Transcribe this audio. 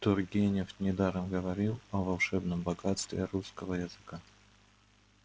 тургенев недаром говорил о волшебном богатстве русского языка